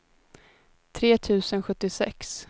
tre tusen sjuttiosex